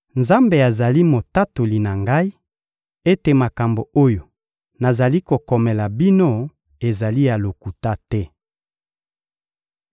Nzambe azali Motatoli na ngai ete makambo oyo nazali kokomela bino ezali ya lokuta te.